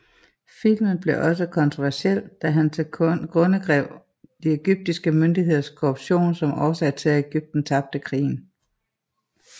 Filmen blev også kontroversiel da han tilgrundegav de egyptiske myndigheders korruption som årsag til at Egypten tabte krigen